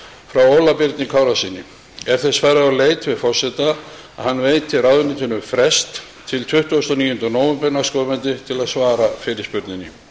frá óla birni kárasyni er þess farið á leit við forseta að hann veiti ráðuneytinu frest til tuttugasta og níunda nóvember næstkomandi til að svara fyrirspurninni